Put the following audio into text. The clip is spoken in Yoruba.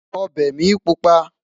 ọbẹ mí pupa